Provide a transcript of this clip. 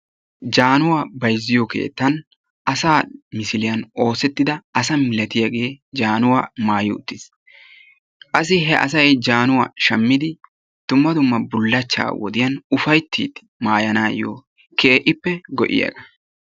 Jaanuwaa bayzziyoo keettan asaa misiliaa oosettida asa milatiyaagee jaanuwaa maayi uttiis. Qassi he asay jaanuwaa shammidi dumma dumma bullachchaa wodiyaan ufayttidi maayanaw keehippe go'iyaaba.